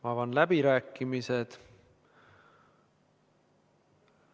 Avan läbirääkimised.